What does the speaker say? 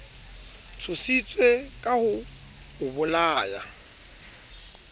tshositse ka ho o bolaya